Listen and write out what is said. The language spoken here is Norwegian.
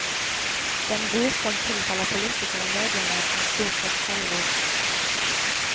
Den ros som tilfaller politikere i mediene, er stort sett selvros.